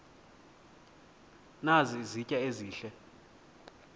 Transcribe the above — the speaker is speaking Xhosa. nazi izitya ezihle